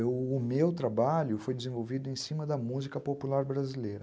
E o meu trabalho foi desenvolvido em cima da música popular brasileira.